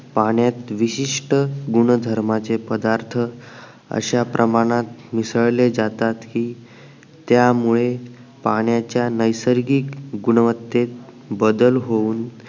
पाण्यात विशिष्ट गुणधर्माचे पदार्थ अश्या प्रमाणात मिसळले जातात ही त्यामुळे पाण्याच्या नैसर्गिक गुणवत्तेत बदल होऊन